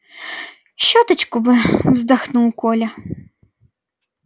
щёточку бы вздохнул коля